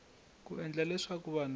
ku endla leswaku vanhu va